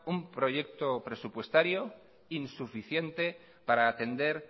un proyecto presupuestario insuficiente para atender